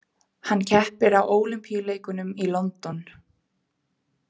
Hann keppir á Ólympíuleikunum í London.